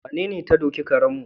Wanene ta doki karenmu?